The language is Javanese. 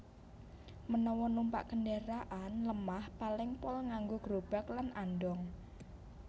Menawa numpak kendharakan lemah paling pol nganggo grobag lan andhong